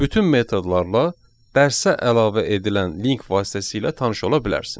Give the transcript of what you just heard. Bütün metodlarla dərsə əlavə edilən link vasitəsilə tanış ola bilərsiniz.